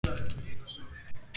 En hvað skal gera?